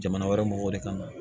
Jamana wɛrɛ mɔgɔw de kama